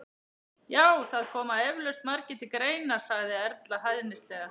Já, það koma eflaust margir til greina sagði Erla hæðnislega.